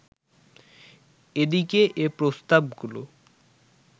এদিকে এ প্রস্তাব গুলো